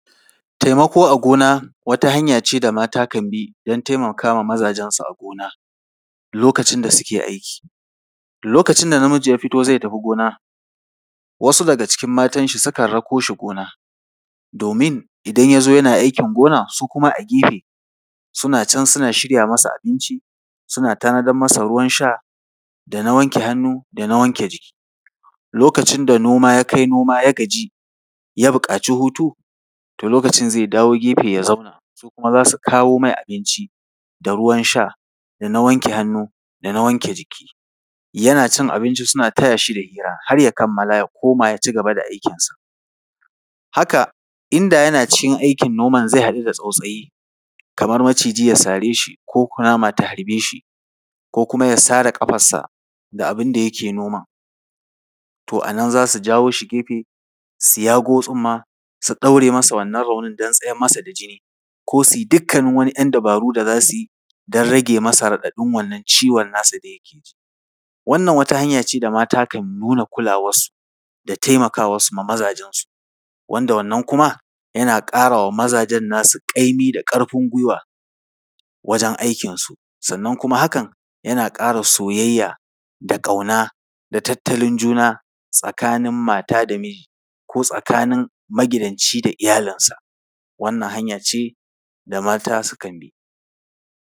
Taimako a gona wata hanya ce da mata kan bi don taimaka ma mazajensu a gona lokacin da suke aiki. Lokacin da namiji ya fito zai tafi gona, wasu daga cikin matanshi sukan rako shi gona, domin idan ya zo yana aikin gona, su kuma a gafe suna can suna shirya masa abinci, suna tanadar masa ruwan sha da na wanke hannu da na wanke jiki. Lokacin da noma ya kai noma, ya gaji, ya buƙaci hutu, to lokacin zai dawo gefe, ya zauna, su kuma za su kawo mai abinci da ruwan sha da na wanke hannu da na wanke jiki. Yana cin abinci suna taya shi da hira, har ya kamala, ya koma, ya ci gaba da aikinsa. Haka inda yana cikin aikin noman zai haɗu da tsautsayi, kamar maciji ya sare shi ko kunama ta harbe shi ko kuma ya sare ƙafarsa da abin da yake noman, to a nan za su jawo shi gefe, su yago tsumma, su ɗaure masa wannan raunin don tsayar masa da jini ko su yi dukkanin wani ‘yan dabaru da za su yi don rage masa raɗaɗin wannan ciwon nasa da yake ji. Wannan wata hanya ce da mata kan nuna kulawarsu da taimakawarsu ga mazajensu, wanda wanna kuma, yana ƙara wa mazajen nasu ƙaimi da ƙarfin gwiwa wajen aikinsu, sannan kuma hakan, yana ƙara soyayya da ƙauna da tattalin juna tsakanin mata da miji ko tsakanin magidanci da iyalinsa. Wannan hanya ce da mata sukan bi.